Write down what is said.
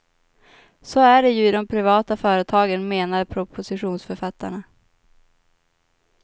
Så är det ju i de privata företagen, menar propositionsförfattarna.